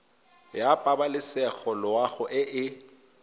ya pabalesego loago e e